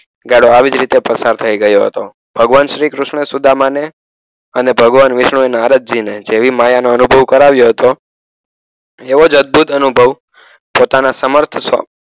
ગાળો આવી જ રીતે પસાર થઈ ગયો હતો ભગવાન શ્રીકૃષ્ણ સુદામાને અને ભગવાન વિશ્વ નારદ જી ને જેવી માયાનો અનુભવ કરાવીયો હતો એવો જ અધભૂત અનુભવ પોતના સમર્થ